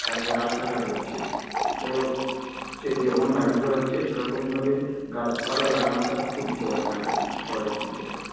তারপরে রাস্তাঘাট হচ্ছে সে যেমন বাড়ি ঘর হচ্ছে সে রকম ভাবে গাছপালা লাগানো টা খুবই দরকার আরকি শহরের দিকে আরকি